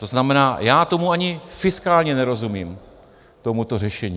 To znamená, já tomu ani fiskálně nerozumím, tomuto řešení.